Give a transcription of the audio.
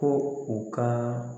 Ko u ka